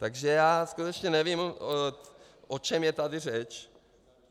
Takže já skutečně nevím, o čem je tady řeč.